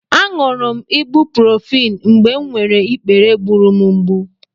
Aṅụrụ m ibuprofen mgbe m nwere ikpere gburu m mgbù.